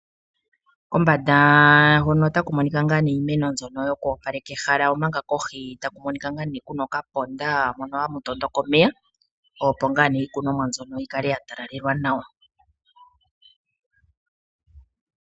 Kombanda hono otaku monika nga nee iimeno yoku opaleka ehala omanga kohi takumonika kuna okaponda opo iimeno yikale yatalalelwa nawa